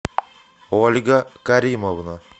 ольга каримовна